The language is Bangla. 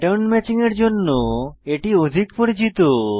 প্যাটার্ন ম্যাচিং এর জন্য এটি অধিক পরিচিত